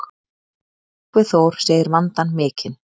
Tryggvi Þór segir vandann mikinn.